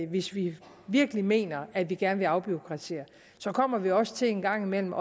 hvis vi virkelig mener at vi gerne vil afbureaukratisere kommer vi også en gang imellem